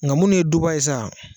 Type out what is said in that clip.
Nga munnu ye duba ye sa